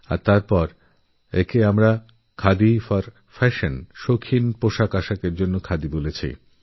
আর আমরা খাদি ফর ফ্যাশনএর কথা বলেছিলাম